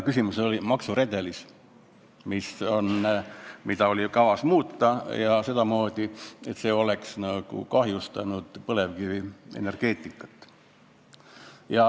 Küsimus oli maksuredelis, mida kavatseti muuta sedamoodi, et see oleks kahjustanud põlevkivienergeetikat.